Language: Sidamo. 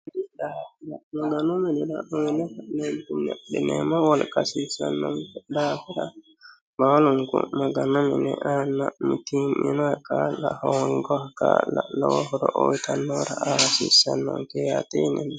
maganu minira uuyyine ka'neentinni adhineemmo wolqa hasiissannonke daafira baalunku maganu minira aanna mitii'minoha kaa'la hoongoha kaa'la hasiissannonke yaate yineemmo